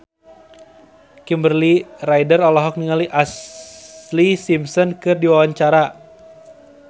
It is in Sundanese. Kimberly Ryder olohok ningali Ashlee Simpson keur diwawancara